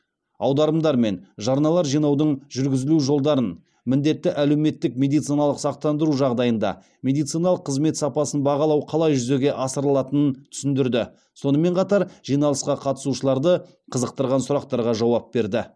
аударымдар мен жарналар жинаудың жүргізілу жолдарын міндетті әлеуметтік медициналық сақтандыру жағдайында медициналық қызмет сапасын бағалау қалай жүзеге асырылатынын түсіндірді сонымен қатар жиналысқа қатысушыларды қызықтырған сұрақтарға жауап берді